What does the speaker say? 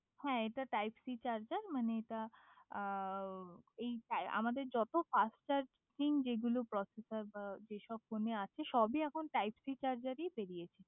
হয় এটা type C charger মানে এটা আমাদের যত ফাস্ট চার্জিং যেগুলো প্রসেস যে সব ফোনে আছে সবই এখন টাইপ সি চার্জার বেরিয়েছে